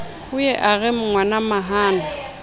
o ye a re ngwanamahana